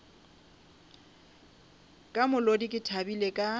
ka molodi ke thabile ka